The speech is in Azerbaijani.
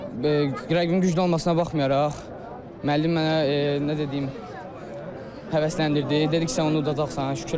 Rəqibin güclü olmasına baxmayaraq, müəllim mənə necə deyim, həvəsləndirdi, dedi ki, sən onu udacaqsan.